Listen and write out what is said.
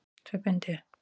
Tvö bindi.